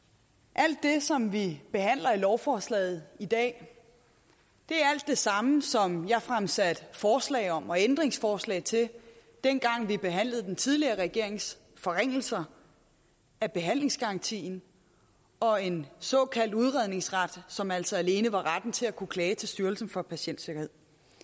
alt det som vi behandler i lovforslaget i dag er det samme som jeg fremsatte forslag om og ændringsforslag til dengang vi behandlede den tidligere regerings forringelser af behandlingsgarantien og en såkaldt udredningsret som altså alene var retten til at kunne klage til styrelsen for patientsikkerhed